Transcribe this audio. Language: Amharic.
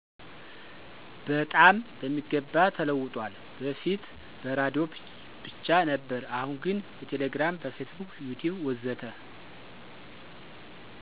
በጣም በሚገባ ተለውጧል በፊት በራዲዮ ብቻ ነበር አሁን ግን በቴሌግራም፣ በፌስቡክ፣ ዩቲዩብ ወዘተ።